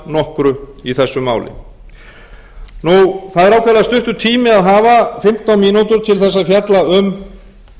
nokkru í þessu máli það er ákaflega stuttur tími að hafa fimmtán mínútur til þess að fjalla um